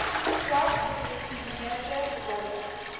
swak gedefinieerde rolle